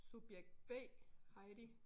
Subjekt B Heidi